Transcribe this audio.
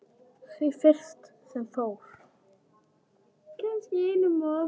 Því fyrsta sem fór.